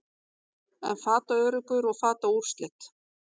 en fataöruggur og fataúrslit